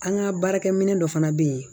An ka baarakɛminɛ dɔ fana bɛ yen